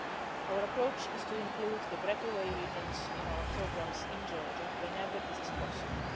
Our approach is to include the breakaway regions in our programmes in Georgia whenever this is possible.